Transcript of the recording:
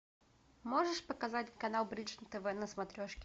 можешь показать канал бридж тв на смотрешке